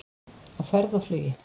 Á ferð og flugi